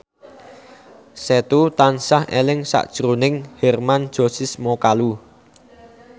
Setu tansah eling sakjroning Hermann Josis Mokalu